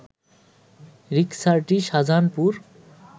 রিকসাটি Shahjahanpur